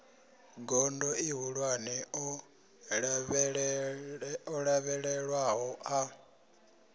gondo ihulwane o lavhelelwaho a